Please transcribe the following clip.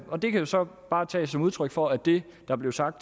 og det kan så bare tages som udtryk for at det der blev sagt